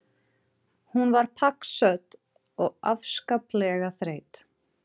Hún var pakksödd og afskaplega þreytt.